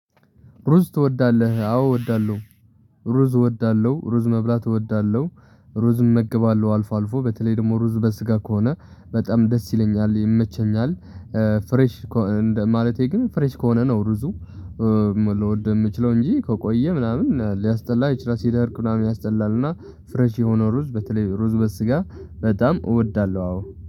ሩዝ ትወዳለህ አዎ እወዳለሁ። ሩዝ እወዳለሁ ሩዝ መብላት እወዳለሁ። ሩዝ እመግባለሁ አልፎ አልፎ በተለይ ደግሞ ሩዝ በስጋ ከሆነ በጣም ደስ ይለኛል ይመቸኛል። ፍሬሽ ማለቴ ግን ፍሬሽ ከሆነ ነው ሩዙ። ልወድ የምችለው እንጂ ከቆየ ምናምን ሊያስጠላ ይችላል ሲደርቅ ምናምን ያስጠላልና። ፍሬሽ የሆነ ሩዝ በተለይ ሩዝ በስጋ በጣም እወዳለሁ። አዎ